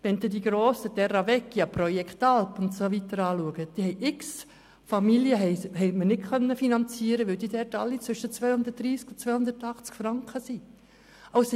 Wenn Sie die grossen Terra-Vecchia-Projekte und so weiter ansehen, so konnten wir zahlreiche Familien nicht finanzieren, weil die Kosten dort alle zwischen 230 bis 280 Franken betragen.